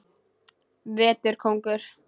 Vetur kóngur.